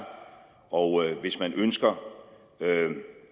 og hvis man ønsker